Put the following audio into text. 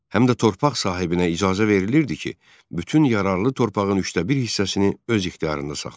Həm də torpaq sahibinə icazə verilirdi ki, bütün yararlı torpağın üçdə bir hissəsini öz ixtiyarında saxlasın.